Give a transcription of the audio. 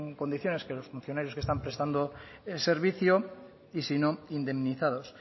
condiciones que los funcionarios que están prestando servicio y si no indemnizados